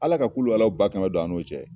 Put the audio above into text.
Ala ka ba kɛmɛ don an n'o cɛ.